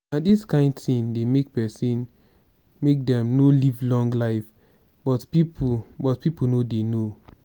na dis kin thing dey make person make dem no live long life but people but people no dey know